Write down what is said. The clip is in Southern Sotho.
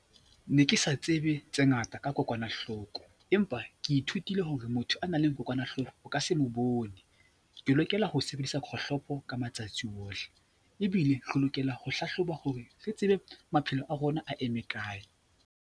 Ne ke sa tsebe tse ngata ka kokwanahloko empa ke ithutile hore motho a nang le kokwanahloko o ka se mo bone. Ke lokela ho sebedisa kgohlopo ka matsatsi ohle ebile re lokela ho hlahloba hore re tsebe maphelo a rona a eme kae.